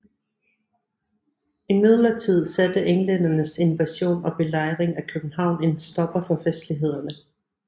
Imidlertid satte englændernes invasion og belejring af København en stopper for festlighederne